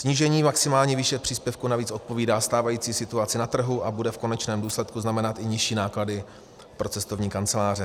Snížení maximální výše příspěvku navíc odpovídá stávající situaci na trhu a bude v konečném důsledku znamenat i nižší náklady pro cestovní kanceláře.